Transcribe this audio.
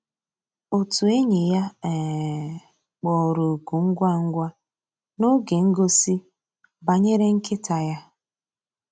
Ótú ényí yá um kpọ̀rọ́ òkụ́ ngwá ngwá n'ògé ngósì bànyéré nkị́tá yá.